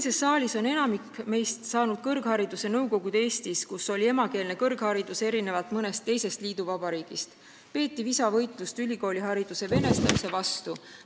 Siinses saalis on enamik meist saanud kõrghariduse Nõukogude Eestis, kus erinevalt mõnest teisest liiduvabariigist oli emakeelne kõrgharidus ja peeti visa võitlust ülikoolihariduse venestamise vastu.